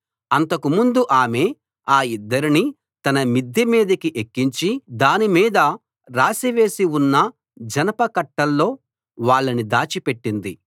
అంతకుముందు ఆమె ఆ ఇద్దరినీ తన మిద్దె మీదికి ఎక్కించి దాని మీద రాశివేసి ఉన్న జనపకట్టల్లో వాళ్ళని దాచి పెట్టింది